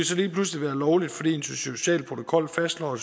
så lige pludselig være lovligt fordi en social protokol fastslår at